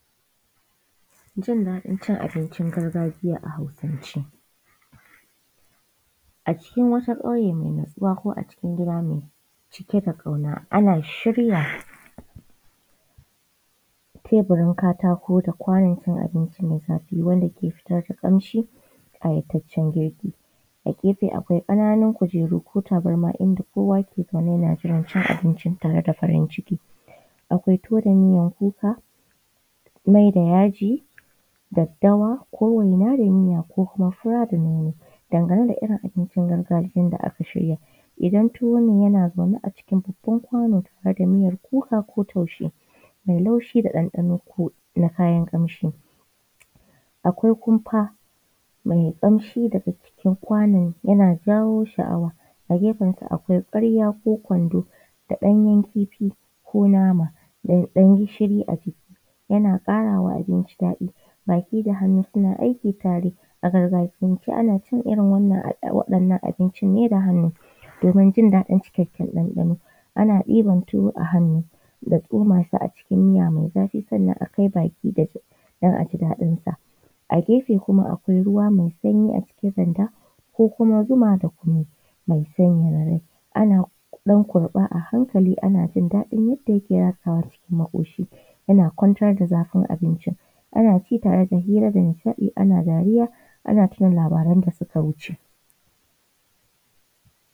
Jin daɗin cin abicin gargajiya a Hausance. A cikin wata ƙauye mai natsuwa ko acikin gida mai ɗauke da ƙauna ana shirya teburin katako da kwanon abinci mai zafi wanda ke fitar da ƙamshin ƙayataccen girki, a gefe akwai ƙananan kujeru ko tabarma inda kowa ke zama yana jiran ya ci abinci cike da farin ciki. Akwai tuwo da miya, mai, yaji da ƙamshi na daddawa ko waina da miya ko kuma fura da nono. Dangane da irin abincin gargajiya da aka shirya, idan tuwo ne yana zaune a cikin babban kwano tare da miyar kuka ko taushe mai laushi da ɗanɗano na kayan ƙamshi. Akwai kumfa mai ƙamshi daga cikin kwanon yana jawo sha’awa a gefen sa akwai ƙwarya ko kwando da ɗanyen kifi ko nama da ɗan gishiri a ciki yana ƙarawa abinci daɗi baki da hannu suna aiki tare. A gargajiyance dai ana cin wannan abincin da hannu domin jin daɗin cikakken ɗanɗano. Ana ɗiban tuwo da hannu a tsoma shi cikin miya mai zafi sannan a kai baki don jin daɗin sa a gefe akwai ruwa mai sanyi a cikin randa ko kuma zuma da kunu mai sanyaya rai. Ana kurɓa a hankali ana jin daɗin yadda yake ratsawa cikin maƙoshi yana kwantar da zafin abinci. Ana cin abinci tare ana hira da nishaɗi ana dariya ana tuna labaran da suka wuce